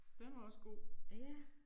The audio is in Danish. Den var også god